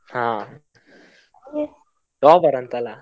ಹಾ, topper ಅಂತ ಅಲ್ಲ?